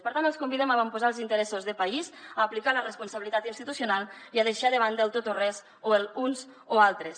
per tant els convidem a avantposar els interessos de país a aplicar la responsabilitat institucional i a deixar de banda el tot o res o els uns o els altres